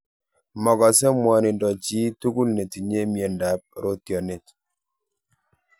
Makase mwanindo chi �tugul netinye miando ap rootyonet.